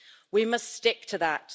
We must stick to that.